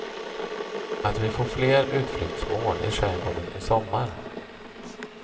Att vi får fler utflyktsmål i skärgården i sommar.